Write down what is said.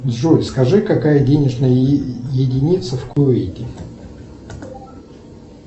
джой скажи какая денежная единица в кувейте